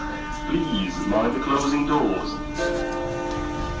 и звездночным туры